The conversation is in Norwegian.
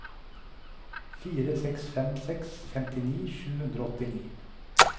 fire seks fem seks femtini sju hundre og åttini